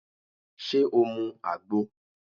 Ṣé o mu àgbo?